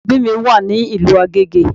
Ilé ẹbí wa wà ní ìlú Agége